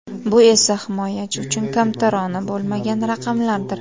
Bu esa himoyachi uchun kamtarona bo‘lmagan raqamlardir.